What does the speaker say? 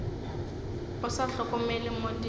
o sa hlokomele mo di